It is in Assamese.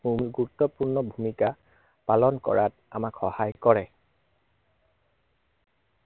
অতি গুৰুত্বপূৰ্ণ ভূমিক, পালন কৰাত আমাক সহায় কৰে।